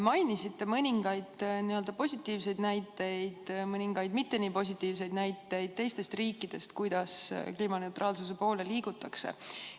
Mainisite mõningaid positiivseid näiteid, mõningaid mitte nii positiivseid näiteid teistest riikidest, kuidas kliimaneutraalsuse poole liigutakse.